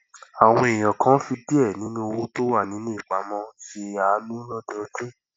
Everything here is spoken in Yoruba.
àwọn èèyàn kan fi diẹ ninu owó tó wà ní ìpamó se aanu lọdọọdun